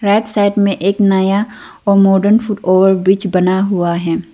Right side में एक नया और मॉडर्न फुट ओवरब्रिज बना हुआ है।